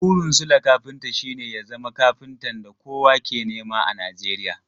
Burin Sule kafinta shi ne ya zama kafintan da kowa ke nema a Nijeriya.